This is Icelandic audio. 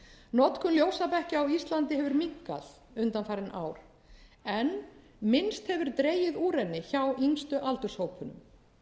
notkun ljósabekkja á íslandi hefur minnkað undanfarin ár en minnst hefur dregið úr henni hjá yngstu aldurshópunum